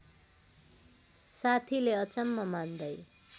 साथीले अचम्म मान्दै